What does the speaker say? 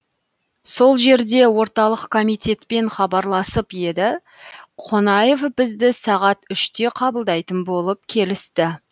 сол жерде орталық комитетпен хабарласып еді қонаев бізді сағат үште қабылдайтын болып келісті